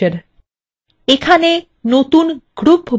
এখানে নতুন group by বাক্যাংশটি লক্ষ্য করুন